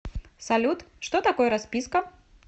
салют что такое расписка